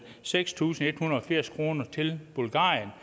seks tusind en hundrede og firs kroner til bulgarien